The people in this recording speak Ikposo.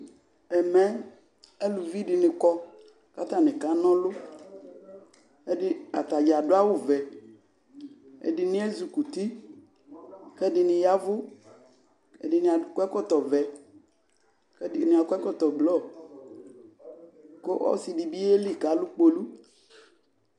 Ɛmɛ eluvi dɩnɩ kɔ kʋ atanɩ kana ɔlʋ Ɛdɩ ata dza adʋ awʋvɛ Ɛdɩnɩ ezikuti kʋ ɛdɩnɩ ya ɛvʋ Ɛdɩnɩ akɔ ɛkɔtɔvɛ kʋ ɛdɩnɩ akɔ ɛkɔtɔblɔ kʋ ɔsɩ dɩ bɩ yeli kʋ alʋ kpolu